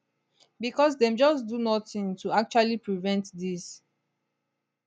becos dem just do nothing to actually prevent dis